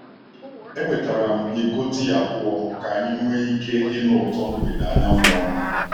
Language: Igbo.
Ewetara m iko tii abụọ ka anyị nwee ike ịnụ ụtọ mgbede anyanwụ ọnụ.